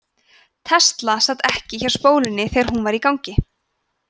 tesla sat ekki hjá spólunni þegar hún var í gangi